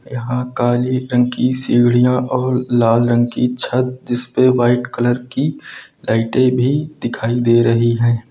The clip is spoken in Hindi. यहां काली रंग की सीढ़ियां और लाल रंग की छत जिस पे व्हाइट कलर की लाइटें भी दिखाई दे रही हैं।